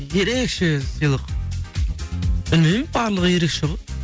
ерекеше сыйлық білмеймін барлығы ерекше ғой